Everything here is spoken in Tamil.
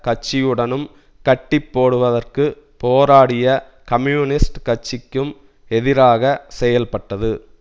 கட்சியுடனும் கட்டிப்போடுவதற்கு போராடிய கம்யூனிஸ்ட் கட்சிக்கும் எதிராக செயல்பட்டது